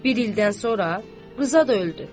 Bir ildən sonra Rıza da öldü.